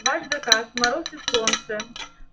ваш заказ мороз и солнце